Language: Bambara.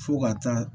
Fo ka taa